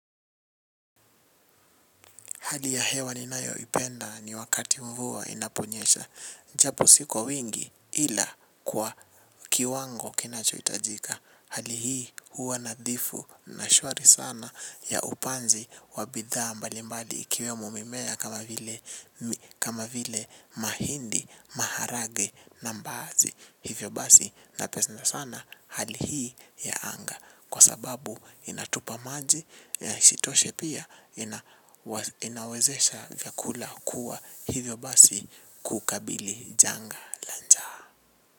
Hali ya hewa ninayoipenda ni wakati mvua inaponyesha. Japo si kwa wingi ila kwa kiwango kinachohitajika. Hali hii huwa nadhifu na shwari sana ya upanzi wa bidhaa mbali mbali ikiwemo mimea kama vile mi kama vile mahindi maharage na mbaazi. Hivyo basi napesna sana hali hii ya anga. Kwa sababu inatupa maji, ishitoshe pia inawa inawezesha vyakula kuwa hivyo basi kuukabili janga la njaa.